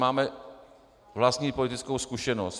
Máme vlastní politickou zkušenost.